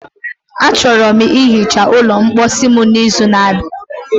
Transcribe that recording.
Achọrọ m ihicha ụlọ mposi m n'izu n'abịa.